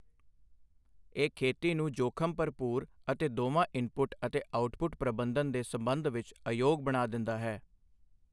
ਇਹ ਖੇਤੀ ਨੂੰ ਜੋਖਮ ਭਰਪੂਰ ਅਤੇ ਦੋਵਾਂ ਇਨਪੁਟ ਅਤੇ ਆਉਟਪੁੱਟ ਪ੍ਰਬੰਧਨ ਦੇ ਸੰਬੰਧ ਵਿੱਚ ਅਯੋਗ ਬਣਾ ਦਿੰਦਾ ਹੈ।